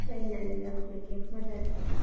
Train ನಲ್ಲೆಲ್ಲ ಹೋಗ್ಲಿಕ್ಕೆ ಮಜಾ ಆಗ್ತದೆ.